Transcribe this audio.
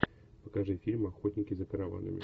покажи фильм охотники за караванами